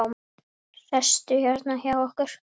Sestu hérna hjá okkur!